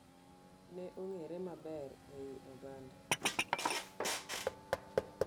Ne ongere maber ei oganda.